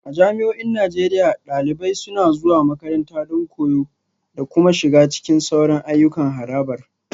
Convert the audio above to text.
A jami'o'in Najeriya, dalibai suna zuwa makaranta don koyo da kuma shiga cikin sauran ayyukan harabar